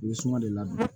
I bɛ suma de ladon